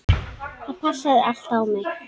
Það passaði allt á mig.